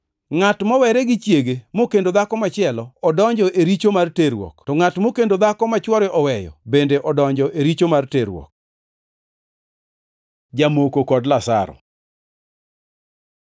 “Ngʼato mowere gi chiege mokendo dhako machielo, odonjo e richo mar terruok, to ngʼat mokendo dhako ma chwore oweyo, bende odonjo e richo mar terruok. Jamoko kod Lazaro